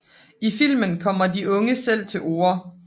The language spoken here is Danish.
I filmen kommer de unge selv til orde